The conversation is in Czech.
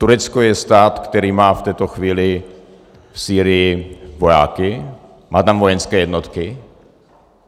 Turecko je stát, který má v této chvíli v Sýrii vojáky, má tam vojenské jednotky.